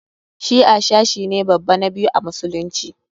Shi'a sashi ne babba na biyu a musulunci.